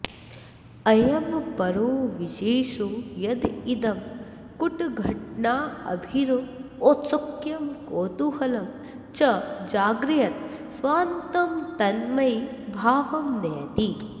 अयमपरो विशेषो यदिदं कुटघटनाभिरौत्सुक्यं कौतूहलं च जागरयत् स्वान्तं तन्मयीभावं नयति